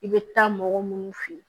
I bɛ taa mɔgɔ minnu fɛ yen